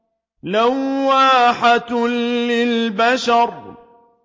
لَوَّاحَةٌ لِّلْبَشَرِ